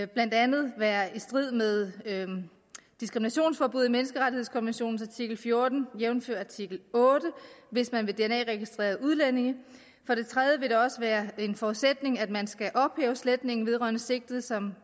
blandt andet være i strid med diskriminationsforbuddet i menneskerettighedskonventionens artikel fjorten jævnfør artikel otte hvis man vil dna registrere udlændinge for det tredje vil det også være en forudsætning at man skal ophæve sletningen vedrørende sigtede som